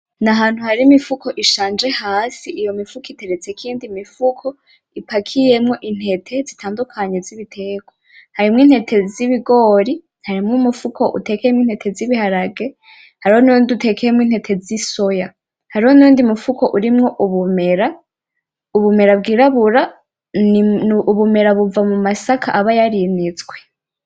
N’ahantu hari imifuko ishanje hasi, iyo mifuko iteretsweko iyindi mifuko ipakiyemwo intete zitandukanye z’ibiterwa. Harimwo intete z’ibigori, harimwo umufuko utekeyemwo intete z’ibiharage harimwo n’uyundi utekewemwo intete zi soya, hariho n’uyundi utekewemwo ubumera bwirabura. Ubumera buva mu masaka aba yarinitswe.